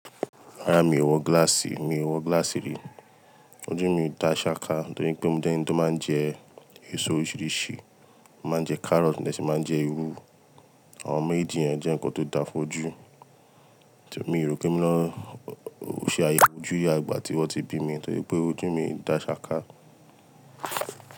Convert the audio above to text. Rárá mi ò wọ gíláàsì, mi ò wọ gíláàsì rí. Ojú mi dá ṣàká nítorí pé mo jẹ́ eńi to máa ń jẹ èso oríṣiríṣi. Máa ń jẹ carrot mo de ṣi máa ń jẹ iru. Àwọn méjì yẹn jẹ́ ǹnkan tó da fójú. Èmi yòókè mi lọ ó ṣe àyè ojú yá ìgbà tí wọ́n ti bí mi nítorí pé ojú mi dá ṣàká.